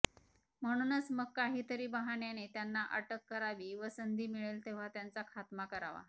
म्हणूनच मग काहीतरी बहाण्याने त्यांना अटक करावी व संंधी मिळेल तेव्हा त्यांचा खात्मा करावा